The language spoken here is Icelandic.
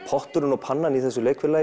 potturinn og pannan í þessu leikfélagi